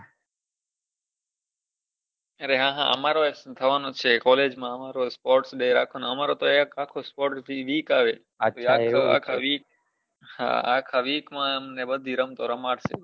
અરે હા હા અમારેય થવાનો છે college માં sports day રાખવાનો અમારો તો એક અખો sports week આવે હા આખાં week માં અમને બધી રમતો રમાડ સે